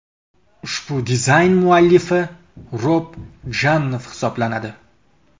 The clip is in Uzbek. Ushbu dizayn muallifi Rob Janoff hisoblanadi.